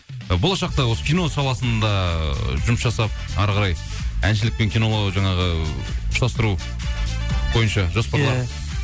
ы болашақта осы кино саласында жұмыс жасап әрі қарай әншілік мен киноны жаңағы ұштастыру бойынша жоспарлар